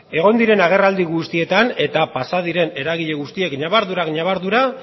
egon diren agerraldi guztietan eta pasa diren eragile guztiek ñabardurak ñabardura